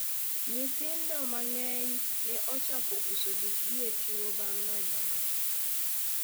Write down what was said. nyithindo mang'eny ne ochako uso gikgi e chiro bang' ng'anyo no